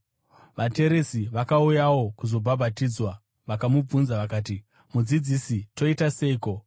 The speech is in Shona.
Vateresi vakauyawo kuzobhabhatidzwa. Vakamubvunza vakati, “Mudzidzisi, toita seiko?”